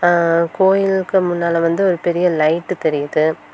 ஆ கோயிலுக்கு முன்னால வந்து ஒரு பெரிய லைட்டு தெரியுது.